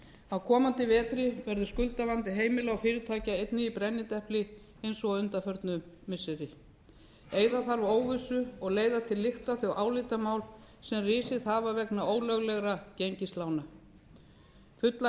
á komandi vetri verður skuldavandi heimila og fyrirtækja einnig í brennidepli eins og undanfarin missiri eyða þarf óvissu og leiða til lykta þau álitamál sem risið hafa vegna ólöglegra gengislána fullan